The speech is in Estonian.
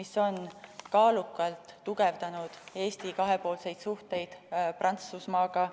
See on kaalukalt tugevdanud Eesti kahepoolseid suhteid Prantsusmaaga.